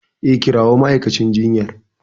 E, kirawo ma'aikacin jinyar.